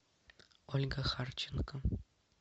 ольга харченко